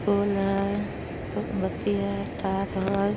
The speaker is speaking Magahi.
पोल है मोमबत्ती है तार है।